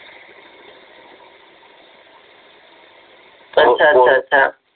अच्छा अच्छा अच्छा